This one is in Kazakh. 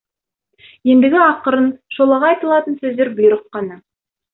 ендігі ақырын шолақ айтылатын сөздер бұйрық қана